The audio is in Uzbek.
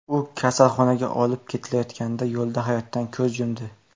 U kasalxonaga olib ketilayotganda yo‘lda hayotdan ko‘z yumdi.